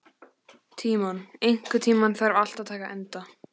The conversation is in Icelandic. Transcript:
Tímon, einhvern tímann þarf allt að taka enda.